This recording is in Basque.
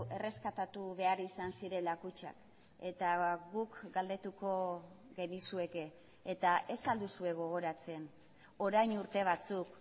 erreskatatu behar izan zirela kutxak eta guk galdetuko genizueke eta ez al duzue gogoratzen orain urte batzuk